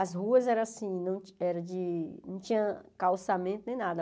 As ruas eram assim, não ti era de não tinha calçamento nem nada.